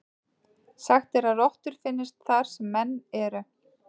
Sagt er að rottur finnist þar sem menn eru.